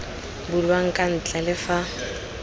bulwang kwa ntle le fa